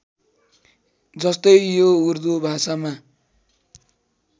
जस्तै यो उर्दु भाषामा